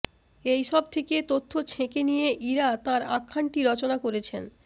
এই সব থেকে তথ্য ছেঁকে নিয়ে ইরা তাঁর আখ্যানটি রচনা করেছেন